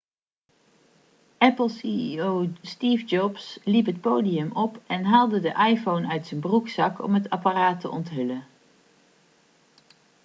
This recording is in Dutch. apple ceo steve jobs liep het podium op en haalde de iphone uit zijn broekzak om het apparaat te onthullen